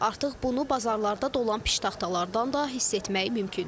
Artıq bunu bazarlarda dolan biştaxtalardan da hiss etmək mümkündür.